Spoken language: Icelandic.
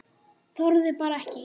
Þorði bara ekki.